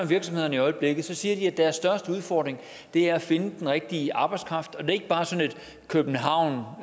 virksomhederne i øjeblikket siger de at deres største udfordring er at finde den rigtige arbejdskraft og det er ikke bare sådan en københavn